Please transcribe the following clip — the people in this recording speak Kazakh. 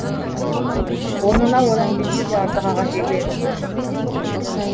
орнына одан бес есе артық ағаш егіледі